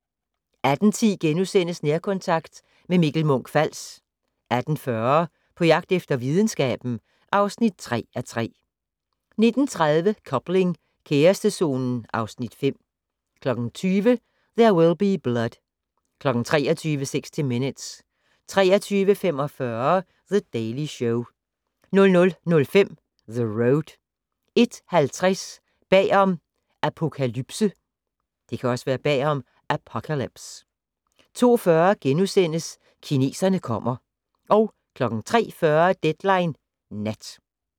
18:10: Nærkontakt - med Mikkel Munch-Fals * 18:40: På jagt efter videnskaben (3:3) 19:30: Coupling - kærestezonen (Afs. 5) 20:00: There Will Be Blood 23:00: 60 Minutes 23:45: The Daily Show 00:05: The Road 01:50: Bag om Apokalypse 02:40: Kineserne kommer * 03:40: Deadline Nat